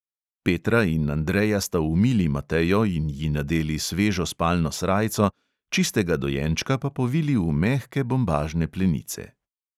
Petra in andreja sta umili matejo in ji nadeli svežo spalno srajco, čistega dojenčka pa povili v mehke bombažne plenice.